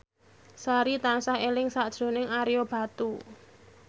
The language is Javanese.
Sari tansah eling sakjroning Ario Batu